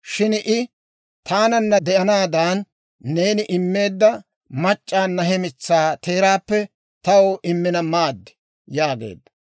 Shin I, «Taananna de'anaadan neeni immeedda mac'c'awunna he mitsaa teeraappe taw immina maad» yaageedda.